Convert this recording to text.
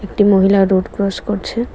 একটি মহিলা road cross করছে।